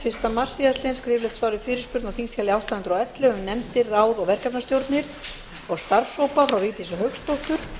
fyrsta mars síðastliðinn skriflegt svar við fyrirspurn á þingskjali átta hundruð og ellefu um nefndir ráð og verkefnastjórnir og starfshópa frá vigdísi hauksdóttur